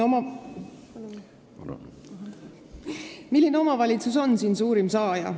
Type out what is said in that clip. Milline omavalitsus on siin suurim saaja?